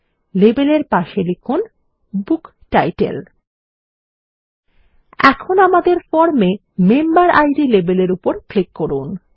label এর পাশে লিখুন বুক টাইটেল এখন আমাদের ফর্মে মেম্বেরিড লেবেলের উপর ক্লিক করুন